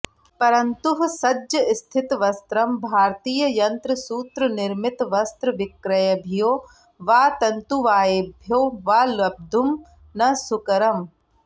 परंतुः सज्जस्थितवस्त्रं भारतीययंत्रसूत्रनिर्मितवस्त्रविक्रयिभ्यो वा तंतुवायेभ्यो वा लब्धुं न सुकरम्